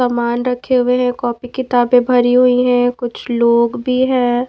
सामान रखे हुए हैं कॉपी किताबें भरी हुई हैं कुछ लोग भी हैं।